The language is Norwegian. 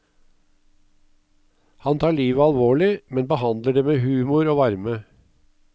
Han tar livet alvorlig, men behandler det med humor og varme.